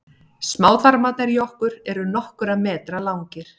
smáþarmarnir í okkur eru nokkurra metra langir